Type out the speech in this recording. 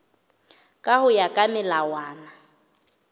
ka ho ya ka melawana